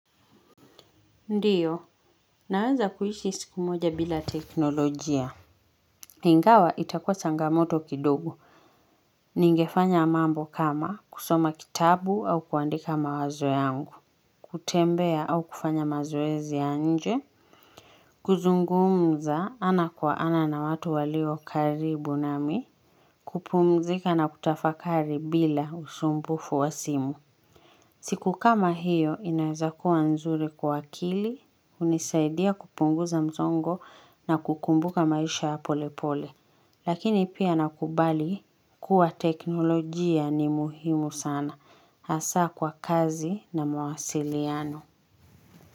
Ndiyo, naweza kuishi siku moja bila teknolojia. Ingawa itakua changamoto kidogo. Ningefanya mambo kama kusoma kitabu au kuandika mawazo yangu. Kutembea au kufanya mazoezi ya nje. Kuzungumza ana kwa ana na watu walio karibu nami. Kupumzika na kutafakari bila usumbufu wa simu. Siku kama hiyo inaweza kuwa nzuri kwa akili. Hunisaidia kupunguza msongo na kukumbuka maisha ya polepole Lakini pia nakubali kuwa teknolojia ni muhimu sana Hasa kwa kazi na mawasiliano.